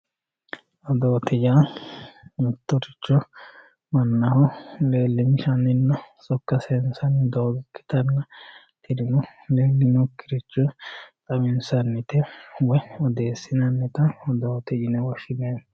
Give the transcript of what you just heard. odoote yaa mittoricho mannaho leelinshaninna sokka sayiinsanni doogo ikkitanna mitu egeninokkiricho xawinsanita woye odeesinannita odoote yine woshshinanni.